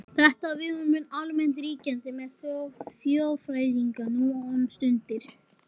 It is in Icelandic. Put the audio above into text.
Þetta viðhorf mun almennt ríkjandi meðal þjóðfræðinga nú um stundir.